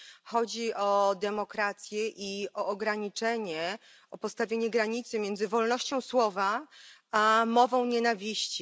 Chodzi o demokrację i o postawienie granicy między wolnością słowa a mową nienawiści.